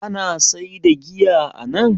Ana saida giya anan?